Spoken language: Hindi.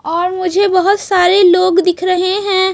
और मुझे बहोत सारे लोग दिख रहे हैं।